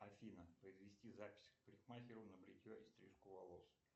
афина произвести запись к парикмахеру на бритье и стрижку волос